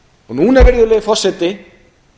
núna virðulegi forseti